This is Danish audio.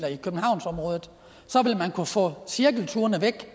i kunne få cirkelturene væk